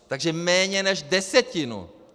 Takže méně než desetinu!